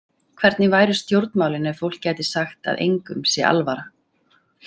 Hvernig væru stjórnmálin ef fólk gæti sagt að engum sé alvara?